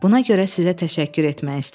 Buna görə sizə təşəkkür etmək istəyirəm.